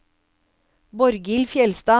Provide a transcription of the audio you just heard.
Borghild Fjellstad